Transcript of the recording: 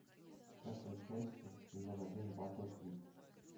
тридцатая часть сезон один батл квик